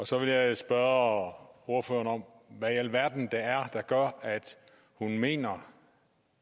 så vil jeg spørge ordføreren om hvad i alverden det er der gør at hun mener